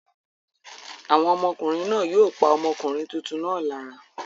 Àwọn ọmọkùnrin náà yóò pa ọmọkùnrin tuntun náà lára?